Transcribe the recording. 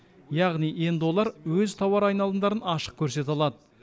яғни енді олар өз тауар айналымдарын ашық көрсете алады